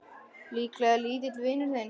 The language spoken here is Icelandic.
Líklega lítill vinur þinn!